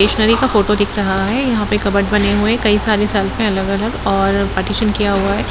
Stationery का photo दिखाई दे रहा है यहाँ पर कपबोर्ड बने हुए है कई सरे शेल्फ़ है अलग-अलग और पार्टीशन किया हुआ है।